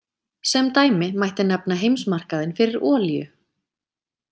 Sem dæmi mætti nefna heimsmarkaðinn fyrir olíu.